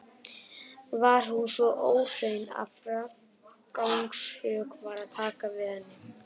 Var hún svo óhrein að frágangssök var að taka við henni.